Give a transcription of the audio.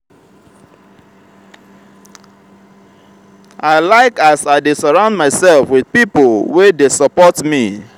i like as i dey surround mysef wit pipo wey dey support me.